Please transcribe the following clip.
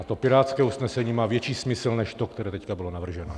A to pirátské usnesení má větší smysl než to, které teď bylo navrženo.